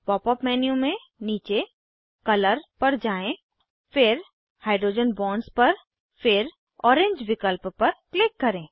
pop up menu में नीचे colour पर जाएँ फिर हाइड्रोजन बॉन्ड्स पर फिर ओरेंज विकल्प पर क्लिक करें